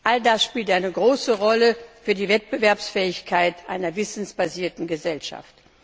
All das spielt eine große Rolle für die Wettbewerbsfähigkeit einer wissensbasierten Gesellschaft.